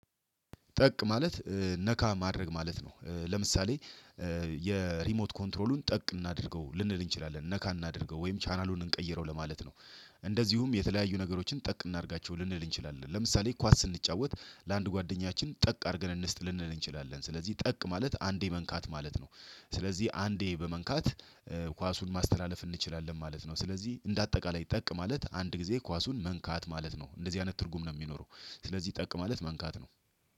ጠቅ ማለት ነካ ማድረግ ማለት ነው። ለምሳሌ የሪሞት ኮንትሮሉን ጠቅ እናድርገው ልንል እንችላለን። ነካ እናድርገው ወይም ቻናሉን እንቀይረው ለማለት ነው። እንደዚሁም የተለያዩ ነገሮችን ጠቅ እናድርጋቸው ልንል እንችላለን። ለምሳሌ ኳስ ስንጫወት ለአንድ ጓደኛችን ጠቅ አድርገን እንስጥ ልንል እንችላለን። ስለዚህ ጠቅ ማለት አንዴ መንካት ማለት ነው። ስለዚህ አንዴ በመንካት ኳሱን ማስተላለፍ እንችላለን ማለት ነው። ስለዚህ እንደ አጠቃላይ ጠቅ ማለት አንድ ጊዜ ኳሱን መንካት ማለት ነው። እንደዚህ አይነት ትርጉም ነው የሚኖረው። ስለዚህ ጠቅ ማለት መንካት ነው።